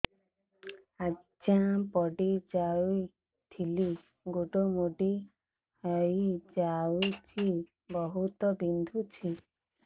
ଆଜ୍ଞା ପଡିଯାଇଥିଲି ଗୋଡ଼ ମୋଡ଼ି ହାଇଯାଇଛି ବହୁତ ବିନ୍ଧୁଛି